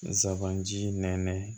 Nsaban ji nɛ